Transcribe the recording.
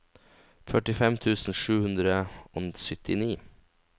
førtifem tusen sju hundre og syttini